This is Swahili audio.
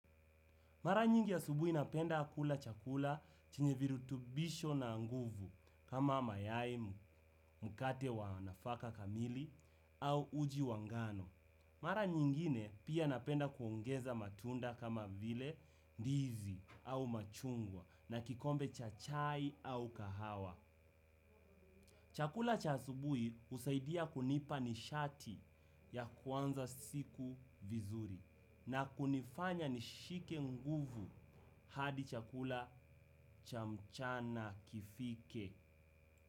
Mara nyingi asubuhi napenda kula chakula chenye virutubisho na nguvu kama mayai, mkate wa nafaka kamili au uji wa ngano. Mara nyingine pia napenda kuongeza matunda kama vile ndizi au machungwa na kikombe cha chai au kahawa. Chakula cha asubuhi husaidia kunipa nishati ya kuanza siku vizuri na kunifanya nishike nguvu hadi chakula cha mchana kifike.